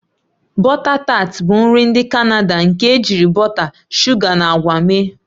Bọta tat bụ nri ndị Canada nke ejiri bọta, shuga na akwa mee.